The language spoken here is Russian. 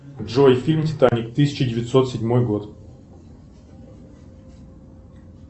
джой фильм титаник тысяча девятьсот седьмой год